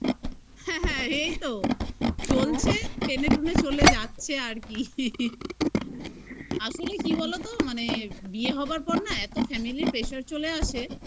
হ্যাঁ হ্যাঁ এইতো চলছে টেনেটুনে চলে যাচ্ছে আর কি আসলে কি বলতো মানে বিয়ে হবার পর না এত family pressure র চলে আসে